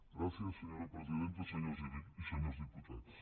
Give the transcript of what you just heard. gràcies senyora presidenta senyores i senyors diputats